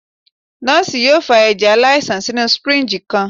Nọ́ọ̀sì yoo fa ẹjẹ alaisan sinu syringe kan.